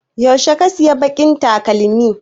Yaushe ka saya baƙin takalmin?